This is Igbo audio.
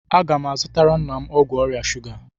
Agá m azutara nna m ọgwụ ọrịa shuga